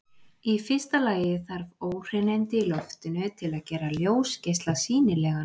Í fyrsta lagi þarf óhreinindi í loftinu til að gera ljósgeisla sýnilegan.